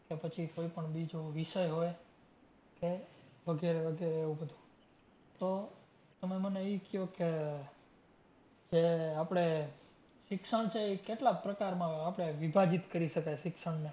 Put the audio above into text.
કે પછી કોઈ પણ બીજો વિષય હોય કે વગરે વગરે એવું બધુ તો તમે મને ઈ ક્યો કે કે આપણે શિક્ષણ છે ઈ કેટલા પ્રકારમાં આપણે વિભાજીત કરી શકાય શિક્ષણને